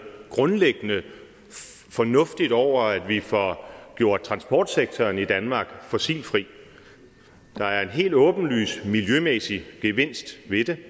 grundlæggende fornuftigt over at vi får gjort transportsektoren i danmark fossilfri der er en helt åbenlys miljømæssig gevinst ved det